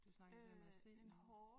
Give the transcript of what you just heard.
Du snakkede om det der med at se noget